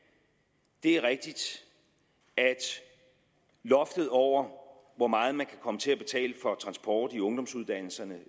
det er rigtigt at loftet over hvor meget man kan komme til at betale for transport i ungdomsuddannelserne